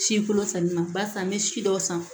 Si kolo sanni na barisa n bɛ si dɔw san